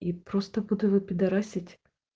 и просто буду его пидорасит